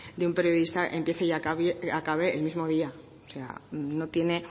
de un periodista empiece y acabe el mismo día o sea no tiene